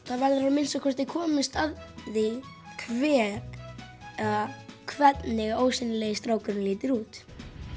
það verður að minnsta kosti komist að því hver eða hvernig ósýnilegi strákurinn lítur út